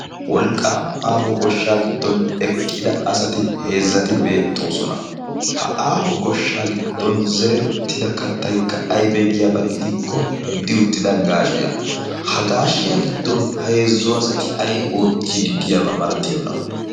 wolqqaama aaho goshshaa giddon eqqida asati heezzati beettoosona. ha aaho goshshaa giddon zerettida kattaykka aybee giyaabaa gidikko uddi uttida gaashiya ha gaashiya giddon heezzu asati ay oottii diddiyaabaa malatiyoona?